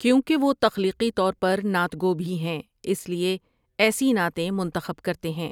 کیونکہ وہ تخلیقی طور پر نعت گو بھی ہیں، اس لیے ایسی نعتیں منتخب کرتے ہیں ۔